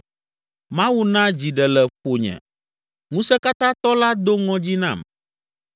Mawu na dzi ɖe le ƒonye, Ŋusẽkatãtɔ la do ŋɔdzi nam.